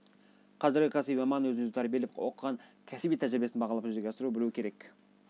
қазіргі кәсіби маман өзін-өзі тәрбиелеп оқыған кәсіби тәжірибесін бағалап жүзеге асыра білу керек